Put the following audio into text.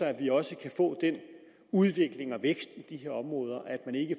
at vi også kan få den udvikling og vækst i de her områder